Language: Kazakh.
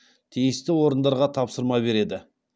тиісті орындарға тапсырма береді